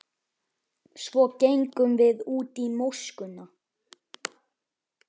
Svo gengum við út í móskuna.